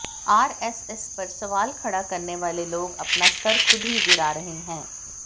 RSS पर सवाल खड़ा करने वाले लोग अपना स्तर खुद ही गिरा रहे हैं